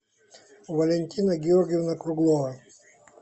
валентина георгиевна круглова